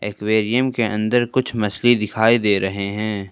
Aquarium के अंदर कुछ मछली दिखाई दे रहे हैं।